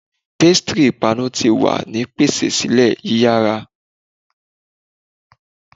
Pastary ipanu ti wa ni pese sile yiyara